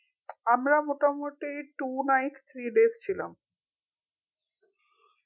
আমরা মোটামোটি two nights three days ছিলাম